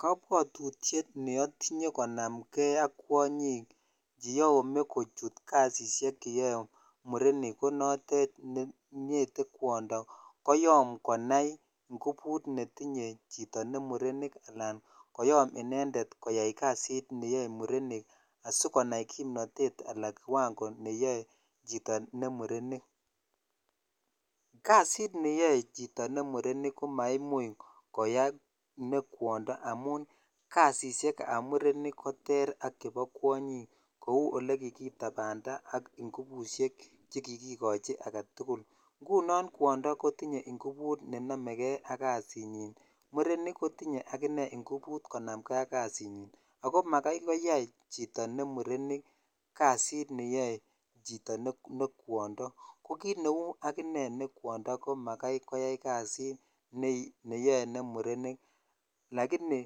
Kobwotutiet neotinye konamke ak kwonyik cheyome kochut kasisiek cheyoe murenik ko notet ne ngete kwondo koyom konai ngubut netinye murenik alan koyom inendet koyai kasit neyoe murenik asikonai kimnotet anan kiwango neyoe chito ne murenik, kasit neyoe chito neyoe ne murenik ko maimuch koyai ne kwondo amun kasisiekab murenik koter ak chebo kwonyik kouu elekikitanda ngubushek chekikikochi aketukul, ng'unon kwondo kotinye ngubut nenomeke ak kasinyin, murenik kotinye akinee ngubut konamke ak kasinyin ak ko makai koyai chito ne murenik kasit neyoe chito ne kwondo, ko kiit neuu akinee ne kwondo, ko makai koyai kasit neyoe ne murenik lakini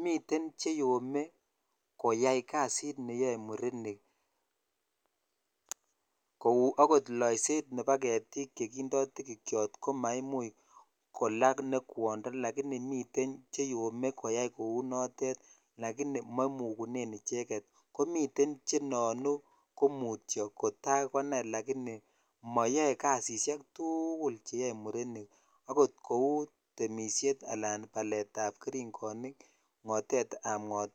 miten cheyome koyai kasit neyoe murenik kou okot loiset nebo ketik chekindo tikikiot ko maimuch kolaa ne kwondo lakini miten cheyome koyai kou notet lakini momukunen icheket, komiten chenoonu ko mutio kotakonai lakini moyoe kasisiek tukul cheyoe murenik akot kouu temishet alaan baletab kering'onik, ng'otetab ng'otwa.